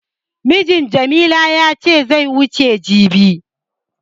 Mijin Jamila ya ce zai wuce jibi.